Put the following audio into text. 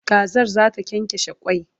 Kazar zata kyankyashe kwai